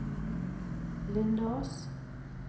Lindås